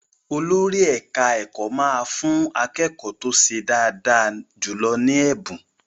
Olórí ẹ̀ka-ẹ̀kọ́ máa fú akékọ́ọ̀ tó ṣe dáadáa jùlọ ní ẹ̀bùn.